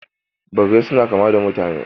Birrai suna kama da mutane